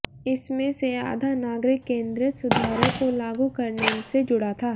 इसमें से आधा नागरिक केंद्रित सुधारों को लागू करने से जुड़ा था